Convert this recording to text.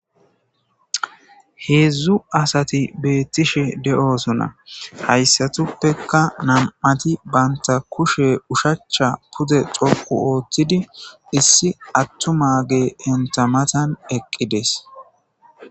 Hedzdzu asati betishe do'osona haysatupeka nam'ati banta kushe ushacha pude dhoqu otidi issi atumage enita matan eqides